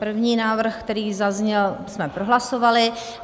První návrh, který zazněl, jsme prohlasovali.